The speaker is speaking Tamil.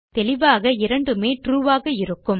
தெளிவாக இரண்டுமே ட்ரூ ஆக இருக்கும்